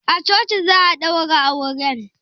A coci za a daura auren?